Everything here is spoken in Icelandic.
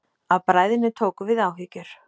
Af bræðinni tóku við áhyggjur.